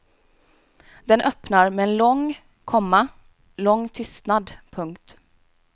Den öppnar med en lång, komma lång tystnad. punkt